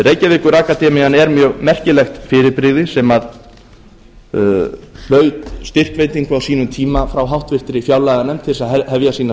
reykjavíkurakademían er mjög merkilegt fyrirbrigði sem hlaut styrkveitingu á sínum tímum frá háttvirtri fjárlaganefnd til þess að hefja sína